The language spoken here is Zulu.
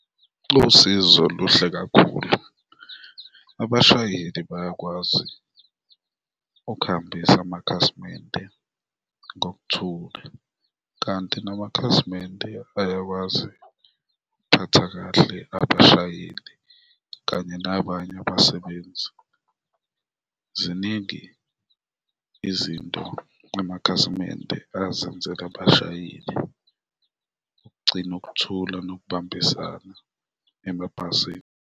Losizo luhle kakhulu, abashayeli bayakwazi ukuhambisa amakhasimende ngokuthula kanti namakhasimende ayakwazi ukuphatha kahle abashayeli kanye nabanye abasebenzi. Ziningi izinto amakhasimende azenzela abashayeli ukugcina ukuthula nokubambisana emabhasini.